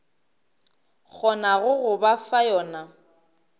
kgonago go ba fa yona